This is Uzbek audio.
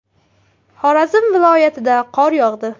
Xorazm viloyatida qor yog‘di.